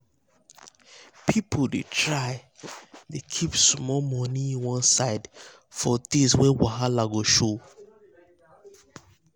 people dey try dey dey keep small money one side for days wey wahala go show.